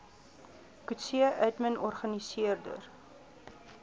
coetzee admin organiseerde